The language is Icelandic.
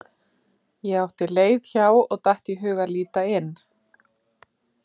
Ég átti leið hjá og datt í hug að líta inn.